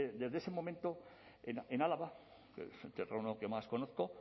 desde ese momento en álava el terreno que más conozco